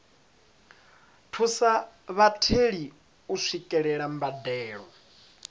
thusa vhatheli u swikelela mbadelo